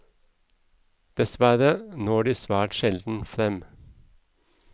Dessverre når de svært sjelden frem.